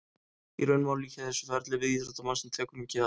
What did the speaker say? Í raun má líkja þessu ferli við íþróttamann sem tekur mikið á.